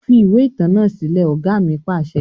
Fi ìwé ìtàn náà sílẹ̀! Ọ̀gá ni pàṣẹ.